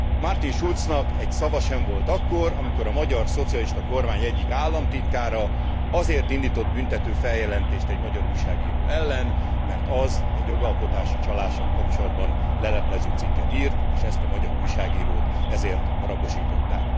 Martin Schulznak egy szava sem volt akkor, amikor a magyar szocialista kormány egyik államtitkára azért indított büntető feljelentést egy magyar újságíró ellen, mert az egy jogalkotási csalással kapcsolatban leleplező cikket írt, és ezt a magyar újságírót ezért rabosították.